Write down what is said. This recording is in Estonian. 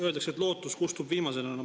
Öeldakse, et lootus kustub viimasena.